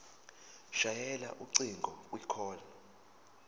shayela ucingo kwicall